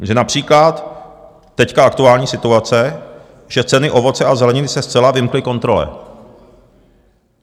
Takže například teď aktuální situace, že ceny ovoce a zeleniny se zcela vymkly kontrole.